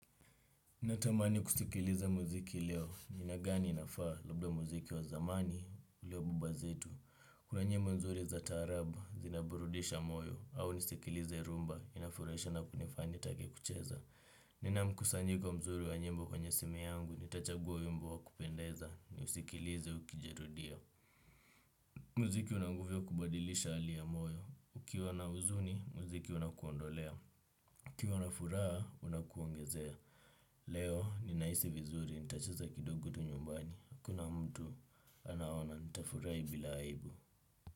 Natamani kusikiliza muziki leo. Na ni gani inafaa? Labda muziki wa zamani ulio wa baba zetu. Kuna nyimbo nzuri za taarabu zinaburudisha moyo au nisikilize rhumba inafurahisha na kunifanya nitake kucheza. Nina mkusanyiko mzuri wa nyimbo kwenye simu yangu nitachagua wimbo wa kupendeza ni usikilize ukijirudia. Mziki una nguvu ya kubadilisha hali ya moyo. Ukiwa na huzuni, muziki unakuondolea. Ukiwa na furaha, unakuongezea. Leo ninahisi vizuri, nitacheza kidogo tu nyumbani, hakuna mtu anaona, ntafurahi bila aibu.